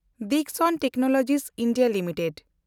Dixon Technologies (ᱵᱷᱮᱱᱰᱚᱛ) limited